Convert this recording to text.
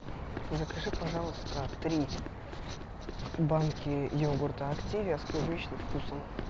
закажи пожалуйста три банки йогурта активия с клубничным вкусом